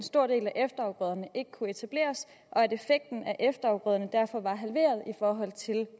stor del af efterafgrøderne ikke kunne etableres og at effekten af efterafgrøderne derfor var halveret i forhold til